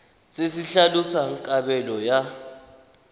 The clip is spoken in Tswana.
se se tlhalosang kabelo ya